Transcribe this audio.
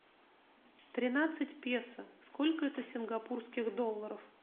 тринадцать песо сколько это сингапурских долларов